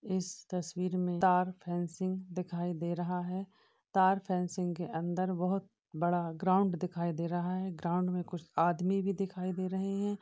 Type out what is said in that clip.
इस तस्वीर मे तार फैंसिंग दिखाई दे रहा है। तार फैंसिंग के अंदर बहुत बड़ा ग्राउंड दिखाई दे रहा है। ग्राउंड में कुछ आदमी भी दिखाई दे रहे है।